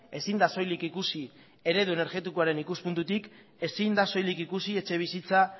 ezin da soilik ikusi eredu energetikoaren ikuspuntutik ezin da soilik ikusi etxebizitza